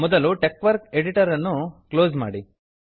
ಮೊದಲು ಟೆಕ್ವರ್ಕ್ ಎಡಿಟರ್ ಅನ್ನು ಕ್ಲೋಸ್ ಮಾಡಿ